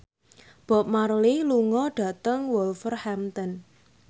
Bob Marley lunga dhateng Wolverhampton